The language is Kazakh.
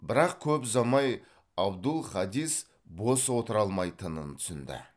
бірақ көп ұзамай абдул хадис бос отыра алмайтынын түсінді